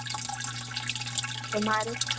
તમારે?